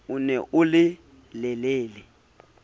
o ne o le lelele